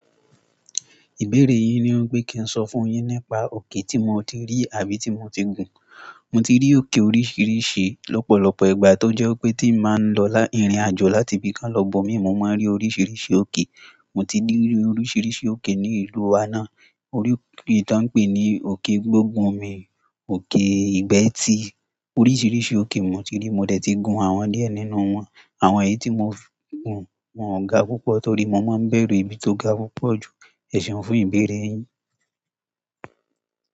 Ìbéèrè yín ni wípé kí n sọ fún un yín nípa òkè tí mo ti rí àbí tí mo ti gùn. Mo ti rí òkè oríṣiríṣi lọ́pọ̀lọpọ̀ ìgbà tó jẹ́ wípé tí n bá lọ ìrìn-àjò láti ibìkan lo ibòmíràn mo máa rí oríṣiríṣi òkè. Mo ti rí oríṣiríṣi òkè ní ìlú wa náà. Orí òkè tó ń pè ní òkè gbógunmì, òkè ìgbẹ́tì oríṣiríṣi òkè mo ti rí mo dẹ̀ ti gun àwọn díẹ̀ nínú wọn. Àwọn èyí tí mo fi gùn wọn ò ga púpọ̀ torí mo máa ń bẹ̀rù ibi tó ga púpọ̀ jù. Ẹ ṣeun fún ìbéèrè yín.